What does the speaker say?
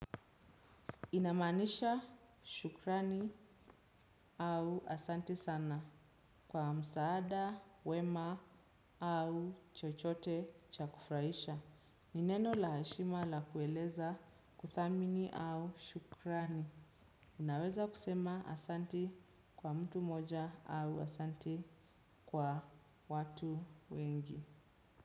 Inamanisha shukrani au asante sana kwa msaada, wema au chochote cha kufuraisha. Ni neno la heshima la kueleza kuthamini au shukrani. Unaweza kusema asanti kwa mtu moja au asanti kwa watu wengi.